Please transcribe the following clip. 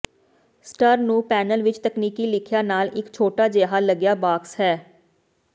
ਸਟਰ ਨੂੰ ਪੈਨਲ ਵਿੱਚ ਤਕਨੀਕੀ ਲਿਖਿਆ ਨਾਲ ਇੱਕ ਛੋਟਾ ਜਿਹਾ ਲੱਿਗਆ ਬਾਕਸ ਹੈ